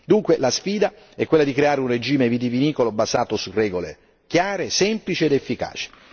Dunque, la sfida è quella di creare un regime vitivinicolo basato su regole chiare, semplici ed efficaci.